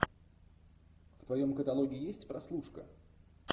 в твоем каталоге есть прослушка